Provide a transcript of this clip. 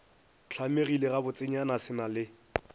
hlamegile gabotsenyana se na le